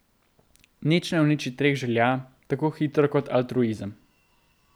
Nič ne uniči treh želja tako hitro kot altruizem.